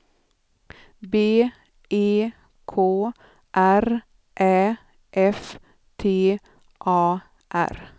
B E K R Ä F T A R